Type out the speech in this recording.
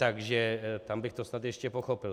Takže tam bych to snad ještě pochopil.